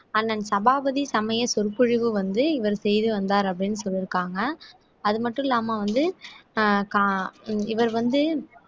அண்ணன் சபாபதி சமய சொற்பொழிவு வந்து இவர் செய்து வந்தார் அப்படின்னு சொல்லிருக்காங்க அது மட்டும் இல்லாம வந்து அஹ் கா இவர் வந்து